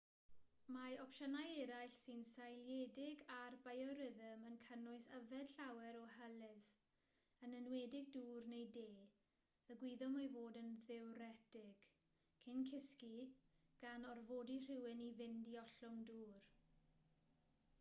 mae opsiynau eraill sy'n seiliedig ar biorhythm yn cynnwys yfed llawer o hylif yn enwedig dŵr neu de y gwyddom ei fod yn ddiwretig cyn cysgu gan orfodi rhywun i fynd i ollwng dŵr